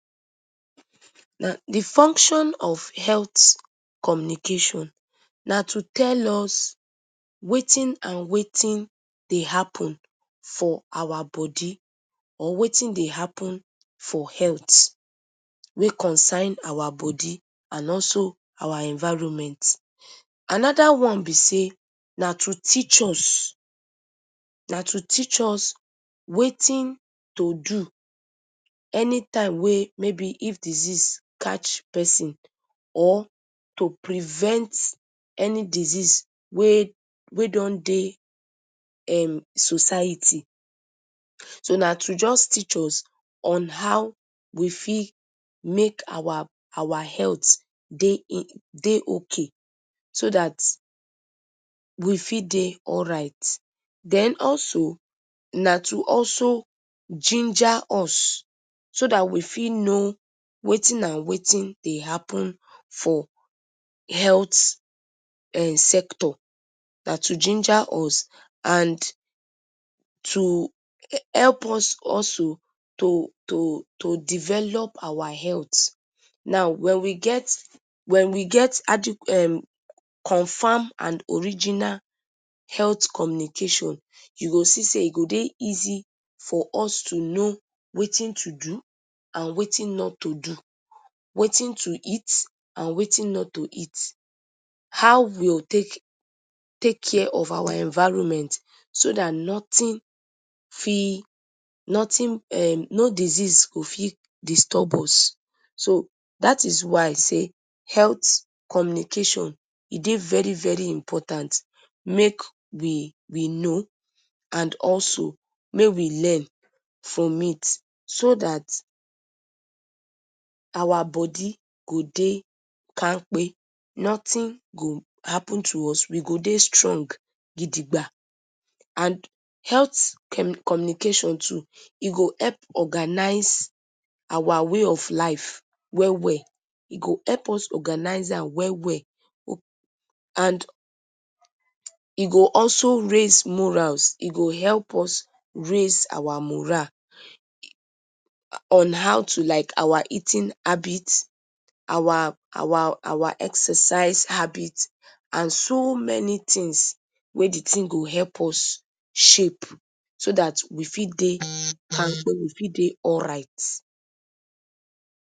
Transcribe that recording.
De function of health communications na to tell us wetin and wetin dey happen for our body or wetin dey happen for health wey concern our body and also our environment another one be sey na to teach us na to teach us wetin to do anytime wey maybe if disease catch person or to prevent any disease wey wey don dey society. so na to just teach us on how we fit make make our health dey okay so that we fit dey alright. Then also na to also ginger us so that we fit know wetin and wetin dey happen for health um sector. Na to ginger us and to help us also to to to to develop our health. Now when we get. wen we get attire um confirm and original health communication you go see sey e go dey easy for us to know wetin to do and wetin not to do wetin to eat and wetin not to eat how we go take take care of our environment so that nothing fit nothing um no disease go fit disturb us. so that is why sey health communication e dey very very important make we know and also make we learn from it so that our body go dey kampe nothing go happen to us. we go dey strong gidigba and health communication too e go help organise our way to life well well. E go help us organise am well well and e go also raise morals e go help us raise our morale on how to like our eating habits our our our exercise habits and so many things eye de thing go help us shape so that we fit dey kampe we fit dey alright.